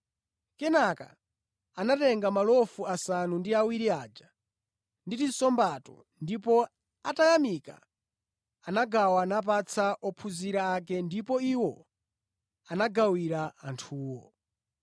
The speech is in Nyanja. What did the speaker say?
Kenaka anatenga malofu asanu ndi awiri aja ndi tinsombato ndipo atayamika anagawa napatsa ophunzira ake ndipo iwo anagawira anthuwo.